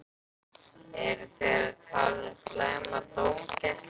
Eru þeir að tala um slæma dómgæslu?